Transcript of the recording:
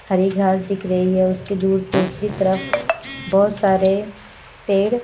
हरे घास दिख रही है उसकी दूर दूसरी तरफ बहोत सारे पेड़--